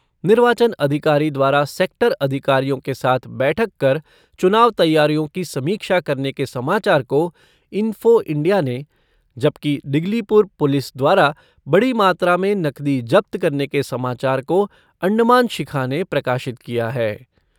निर्वाचन अधिकारी द्वारा सेक्टर अधिकारियों के साथ बैठक कर चुनाव तैयारियों की समीक्षा करने के समाचार को इंफ़ो इंडिया ने, जबकि डिगलीपुर पुलिस द्वारा बड़ी मात्रा में नकदी जब्त करने के समाचार को अण्डमान शिखा ने प्रकाशित किया है।